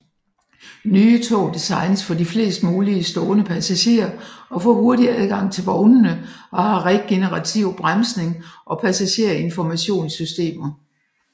Nye tog designes for flest mulige stående passagerer og for hurtig adgang til vognene og har regenerativ bremsning og passagerinformationssystemer